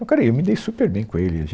Encarei, eu me dei super bem com ele.